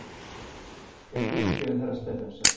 Þér fyrirgefið, herra Stephensen!